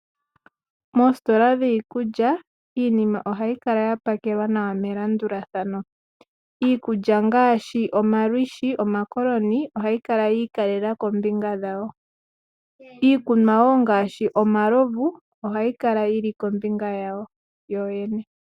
Moositola dhiikulya iinima ohayi kala ya pakelwa nawa melandulathano. Iikulya ngaashi olwiishi, omakoloni ohayi kala yii ikalela kombinga dhawo. Iikunwa wo ngaashi omalovu ohayi kala yili kombinga yawo yoyene.